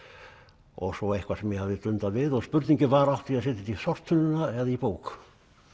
og svo eitthvað sem ég hafði dundað við og spurningin var átti ég að setja þetta í sorptunnuna eða í bók